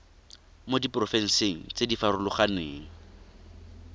mo diporofenseng tse di farologaneng